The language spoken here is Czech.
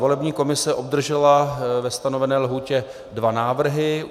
Volební komise obdržela ve stanovené lhůtě dva návrhy.